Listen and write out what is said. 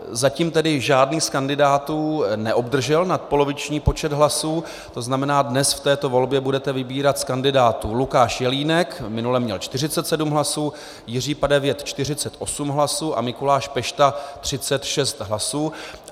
Zatím tedy žádný z kandidátů neobdržel nadpoloviční počet hlasů, to znamená, dnes v této volbě budete vybírat z kandidátů Lukáš Jelínek - minule měl 47 hlasů, Jiří Padevět 48 hlasů a Mikuláš Pešta 36 hlasů.